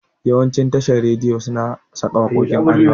Yawancin tashan rediyi suna saka waƙokin arewa